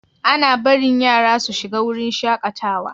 Ana barin yara su shiga wurin shakatawa?